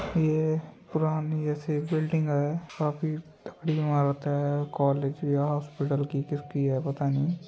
ये पुरानी जैसी बिल्डिंग है काफी बड़ी इमारत है कॉलेज या हॉस्पिटल की किसकी है पता नहीं।